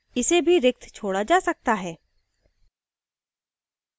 इसे भी रिक्त छोडा जा सकता है